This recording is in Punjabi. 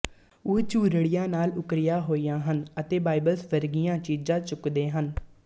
ਉਹ ਝੁਰੜੀਆਂ ਨਾਲ ਉੱਕਰੀਆਂ ਹੋਈਆਂ ਹਨ ਅਤੇ ਬਾਇਬਲਸ ਵਰਗੀਆਂ ਚੀਜ਼ਾਂ ਚੁੱਕਦੇ ਹਨ